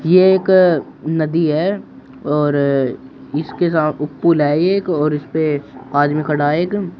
यह एक नदी है और इसके सा पुल है एक और इस पे आदमी खड़ा एक।